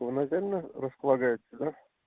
то наверное располагаете да